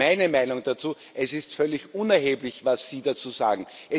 Meine Meinung dazu Es ist völlig unerheblich, was sie dazu sagen.